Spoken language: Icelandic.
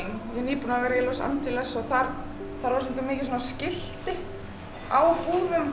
nýbúin að vera í Los Angeles og þar voru svolítið mikið svona skilti á búðum